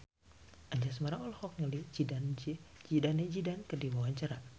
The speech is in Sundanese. Anjasmara olohok ningali Zidane Zidane keur diwawancara